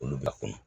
Olu b'a kɔnɔ